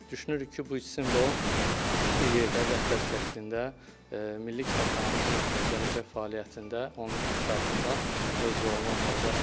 Düşünürük ki, bu simvol bir yerdə vəhdət şəklində Milli Kitabxanamızın gələcək fəaliyyətində, onun inkişafında öz rolunu oynayacaqdır.